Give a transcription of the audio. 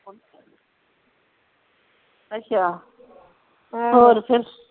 ਅੱਛਾ ਹੋਰ ਫਿਰ